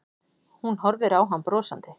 Hún horfir á hann brosandi.